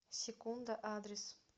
секунда адрес